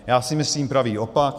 Já si myslím pravý opak.